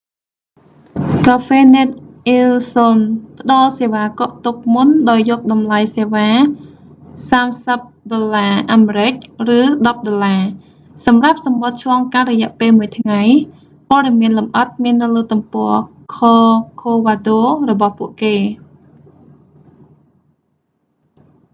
cafenet el sol ផ្ដល់​សេវា​កក់​ទុក​មុនដោយយក​តម្លៃសេវា​ us$30 ឬ $10 សម្រាបសំបុត្រ​​ឆ្លង​កាត់​រយៈ​ពេល​មួយ​ថ្ងៃ​។ ព័ត៌មាន​លម្អិត​មាន​នៅ​លើ​ទំព័រ​ corcovado របស់​ពួកគេ​។